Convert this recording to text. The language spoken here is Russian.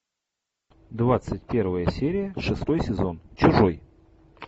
двадцать первая серия шестой сезон чужой